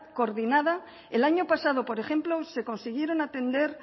coordinada el año pasado por ejemplo se consiguieron atender